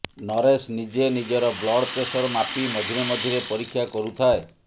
ନରେଶ ନିଜେ ନିଜର blood pressure ମାପି ମଝିରେ ମଝିରେ ପରୀକ୍ଷା କରୁଥାଏ